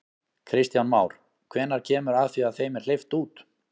Kristján Már: Hvenær kemur að því að þeim er hleypt út?